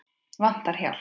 Vantar hjálp.